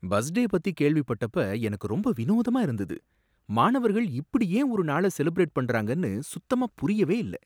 Bus day பத்தி கேள்விப்பட்டப்ப எனக்கு ரொம்ப வினோதமா இருந்தது, மாணவர்கள் இப்படி ஏன் ஒரு நாள செலிப்ரேட் பண்றாங்கனு சுத்தமா புரியவே இல்ல.